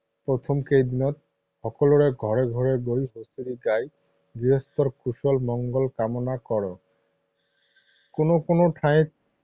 প্ৰথম কেইদিনত সকলোৰে ঘৰে ঘৰে গৈ হুঁচৰি গাই গৃহস্থৰ কুশল মংগল কামনা কৰে। কোনো কোনো ঠাইত